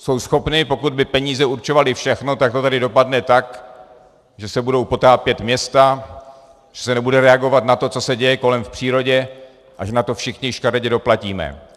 Jsou schopny, pokud by peníze určovaly všechno, tak to tedy dopadne tak, že se budou potápět města, že se nebude reagovat na to, co se děje kolem v přírodě a že na to všichni škaredě doplatíme.